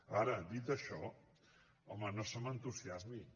ara dit això home no se m’entusiasmi